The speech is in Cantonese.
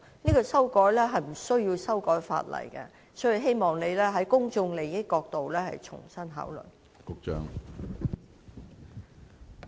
修改投票時間是無須修改法例的，所以我希望局長從公眾利益的角度重新考慮。